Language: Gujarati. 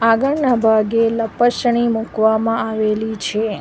આગળના ભાગે લપશણી મૂકવામાં આવેલી છે.